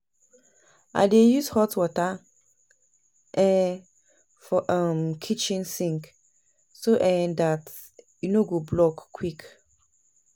I dey use hot water um for um kitchen sink so um dat e no go block quick